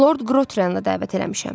Lord Qrotrenlə dəvət eləmişəm.